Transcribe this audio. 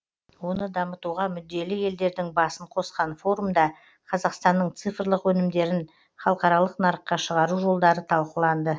оны дамытуға мүдделі елдердің басын қосқан форумда қазақстанның цифрлық өнімдерін халықаралық нарыққа шығару жолдары талқыланды